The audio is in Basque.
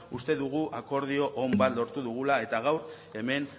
uste dugu akordio on bat lortu dugula eta gaur hemen